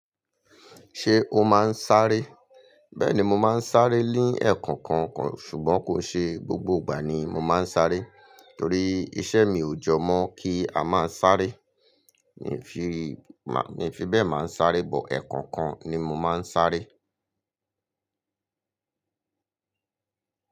Ṣé o máa ń sáré? Bẹ́ẹ̀ni mo máa ń sáré ní ẹ̀kọ̀ọ̀kan kàn ṣùgbọ́n kò ń ṣe gbogbo ìgbà ni mo máa ń sáré torí iṣẹ́ mi ò jọ mọ́ kí a máa sáré. N ò fi mà, n fi bẹ́ẹ̀ máa ń sáré pọ̀ ẹ̀kọ̀ọ̀kan ni mo máa ń sáré.